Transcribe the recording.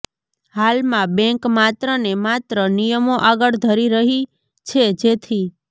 હાલમાં બેંક માત્રને માત્ર નિયમો આગળ ધરી રહી છે જેથી